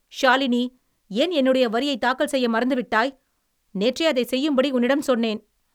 ஷாலினி, ஏன் என்னுடைய வரியை தாக்கல் செய்ய மறந்துவிட்டாய்? நேற்றே அதைச் செய்யும்படி உன்னிடம் சொன்னேன்.